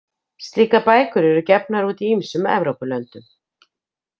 Slíkar bækur eru gefnar út í ýmsum Evrópulöndum.